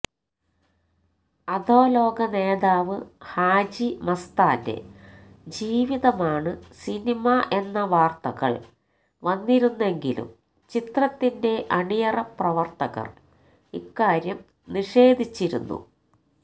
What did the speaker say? അധോലോക നേതാവ് ഹാജി മസ്താന്റെ ജീവിതമാണ് സിനിമ എന്ന വാര്ത്തകള് വന്നിരുന്നെങ്കിലും ചിത്രത്തിന്റെ അണിയറ പ്രവര്ത്തകര് ഇക്കാര്യം നിഷേധിച്ചിരുന്നു